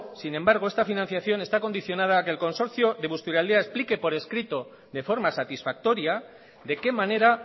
sin embargo esta financiación está condicionada a que el consorcio de busturialdea explique por escrito de forma satisfactoria de qué manera